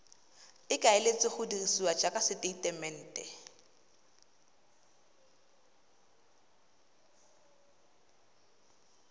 ikaeletsweng go dirisiwa jaaka tesetamente